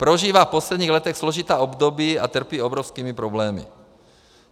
Prožívá v posledních letech složitá období a trpí obrovskými problémy.